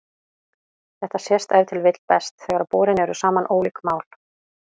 Þetta sést ef til vill best þegar borin eru saman ólík mál.